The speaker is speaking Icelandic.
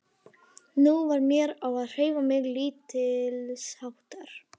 Nú varð mér á að hreyfa mig lítilsháttar.